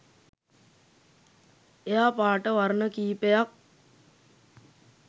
එයා පාට වර්ණ කීපයක්